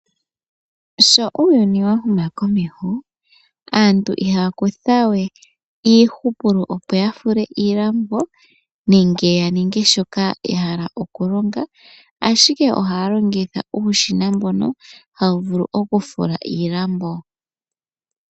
Uuyuni owa huma komeho aantu ihaya longitha we iihupulo, ngele ya hala okufula omalambo. Iilonga oya ningwa iipu kuushina mboka woshinanena. Uushina mbuka ohawu longo komahooli nenge kolusheno.